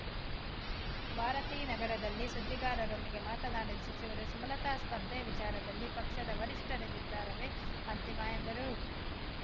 ಭಾರತೀನಗರದಲ್ಲಿ ಸುದ್ದಿಗಾರರೊಂದಿಗೆ ಮಾತನಾಡಿದ ಸಚಿವರು ಸುಮಲತಾ ಸ್ಪರ್ಧೆ ವಿಚಾರದಲ್ಲಿ ಪಕ್ಷದ ವರಿಷ್ಠರ ನಿರ್ಧಾರವೇ ಅಂತಿಮ ಎಂದರು